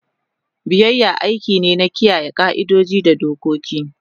Biyayya aiki ne na kiyaye ƙa'idodi da dokoki.